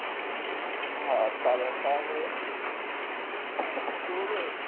হ্যাঁ, চার হাজার টাকা করে